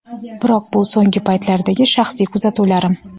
biroq bu so‘nggi paytlardagi shaxsiy kuzatuvlarim.